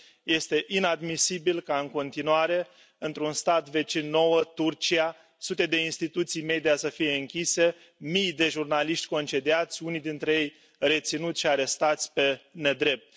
Este inadmisibil ca, în continuare, într un stat vecin nouă, Turcia, sute de instituții media să fie închise, mii de jurnaliști, concediați, unii dintre reținuți și arestați pe nedrept.